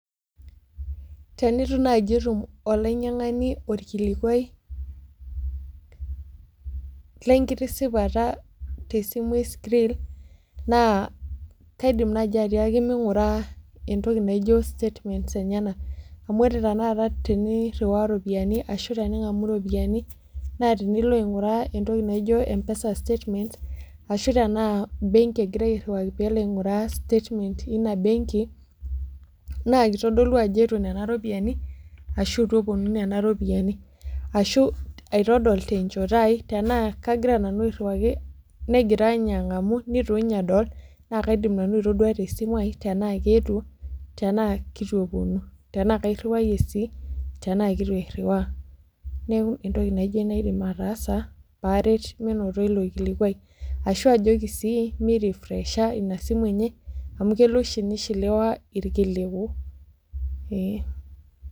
Tenitu naaji etum olainyiang'ani orkilikuai lenkitisipata tesimu e Skrill naa kaidim naaji atiaki ming'ura entoki naijio statements enyenak amu ore tenaata teni rriwaa iropiani ashu tening'amu iropiani naa tinilo aing'uraa entoki naijio mpesa statements ashu tenaa benki egirae airriwaki peelo airriwaa statement ina benki naa kitodolu ajo eetuo nena ropiyiani ashu etu eponu nena ropiyiani ashu aitodol tenchoto ai tenaa kagira nanu airriwaki negira inye ang'amu nitu inye edol naa kaidim nanu aitodua tesimu aia tenaa keetuo tenaa kitu eponu tenaa kairriwayie sii tenaa keitu airriwaa neku entoki naijio aidim ataasa paaret minoto ilo kilikuai ashua ajoki sii mi rifresha ina simu enye amu kelo oshi nishiliwa irkiliku eeh.